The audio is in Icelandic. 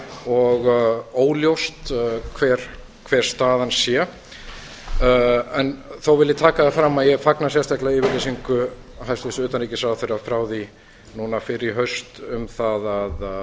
og óljóst hver staðan sé þó vil ég taka það fram að ég fagna sérstaklega yfirlýsingu hæstvirts utanríkisráðherra frá því núna fyrr í haust um það að